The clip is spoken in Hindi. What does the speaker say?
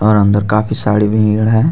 और अंदर काफी साडी भीड है.